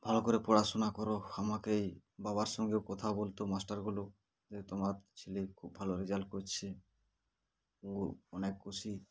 ভালো করে পড়াশোনা করো আমাকে বাবার সঙ্গে কথা বলতো master গুলো যে তোমার ছেলে খুব ভালো result করছে ও অনেক খুশি